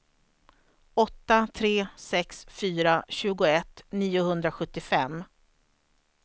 åtta tre sex fyra tjugoett niohundrasjuttiofem